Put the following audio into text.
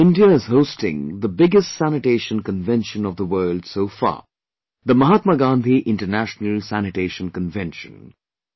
This time India is hosting the biggest Sanitation Convention of the world so far, the Mahatma Gandhi International Sanitation Convention